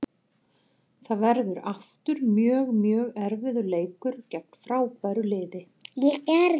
Það verður aftur mjög, mjög erfiður leikur gegn frábæru liði.